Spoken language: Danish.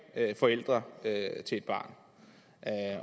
forældre til et barn